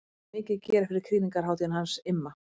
Það er mikið að gera fyrir krýningarhátíðina hans Imma.